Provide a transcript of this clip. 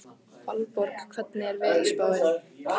Valborg, hvernig er veðurspáin?